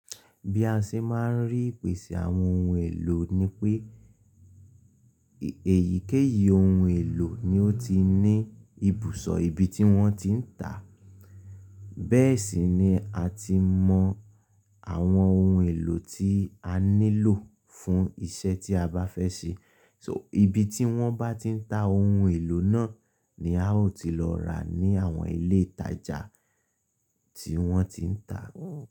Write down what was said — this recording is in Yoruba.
Bí a ṣe máa ń rí ìpèsè àwọn ohun èlò ni pé, èyíkéyìí ohun èlò ni ó ti ní ibùsọ̀ ibi tí wọ́n ti ń tà. Bẹ́ẹ̀ sì ni a ti mọ àwọn ohun èlò tí a nílò fún iṣẹ́ tí a bá fẹ́ ṣe. So ibi tí wọ́n bá ti ń ta ohun èlò náà ni a ó ti lọ rà ní àwọn ilé ìtajà tí wọ́n ti ń tà.